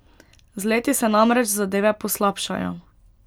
Z leti se namreč zadeve poslabšajo.